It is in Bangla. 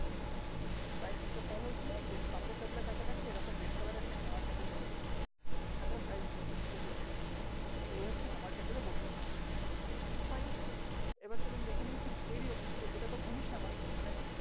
price নিচে fall হয়েছিল then support label এর কাছাকাছি এরকম red color এর একটা hammer candle তৈরী করলো then এখানে থেকে price উপরে চলে গেলো তো এই হচ্ছে hammer candle এর বৈশিষ্ট fine এবার চলুন দেখেনি ঠিক এরই opposite এ এটাতো bullish hammer মানে